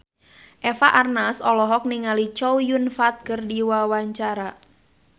Eva Arnaz olohok ningali Chow Yun Fat keur diwawancara